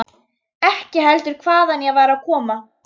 Ekki heldur hvaðan ég var að koma.